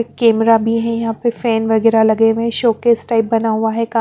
camera भी है यहाँ पे फैन वगैरह लगे हुए हैं शो केस टाइप बना हुआ है का --